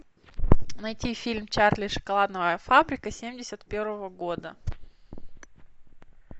найти фильм чарли и шоколадная фабрика семьдесят первого года